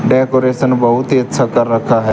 Decoration बहुत ही अच्छा कर रखा है।